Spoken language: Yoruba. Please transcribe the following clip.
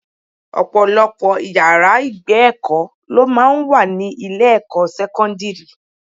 Ọ̀pọ̀lọpọ̀ ìyára ìgbé èkó lọ máa ń wà ní ilé ẹ̀kọ́ sẹ́kọ́ńdírì.